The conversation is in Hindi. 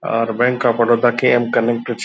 और बैंक ऑफ बड़ौदा के अमकमिंग कुछ --